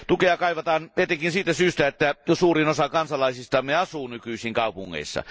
Tukea kaivataan etenkin siitä syystä, että suurin osa kansalaisistamme asuu nykyisin kaupungeissa.